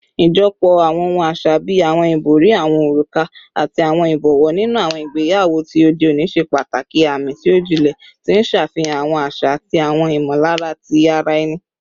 Ijọpọ awọn ohun aṣa bii awọn ibori, awọn oruka, ati awọn ibọwọ ninu awọn igbeyawo ti ode oni ṣe pataki aami ti o jinlẹ, ti n ṣe afihan awọn aṣa ati awọn imọlara ti ara ẹni